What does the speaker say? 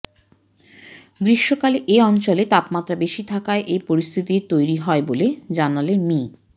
গ্রীষ্মকালে এ অঞ্চলে তাপমাত্রা বেশি থাকায় এ পরিস্থিতির তৈরি হয় বলে জানালেন মি